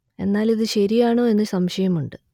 എന്നാൽ ഇതു ശരിയാണോ എന്നു സംശയമുണ്ട്